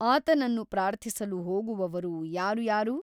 ಆತನನ್ನು ಪ್ರಾರ್ಥಿಸಲು ಹೋಗುವವರು ಯಾರು ಯಾರು ?